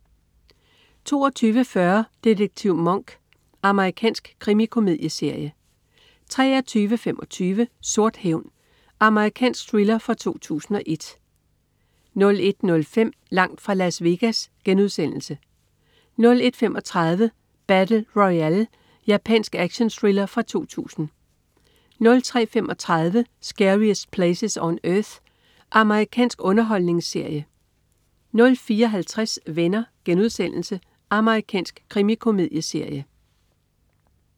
22.40 Detektiv Monk. Amerikansk krimikomedieserie 23.25 Sort hævn. Amerikansk thriller fra 2001 01.05 Langt fra Las Vegas* 01.35 Battle Royale. Japansk actionthriller fra 2000 03.35 Scariest Places on Earth. Amerikansk underholdningsserie 04.50 Venner.* Amerikansk krimikomedieserie